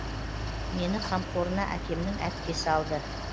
мені қамқорына әкемнің әпкесі алды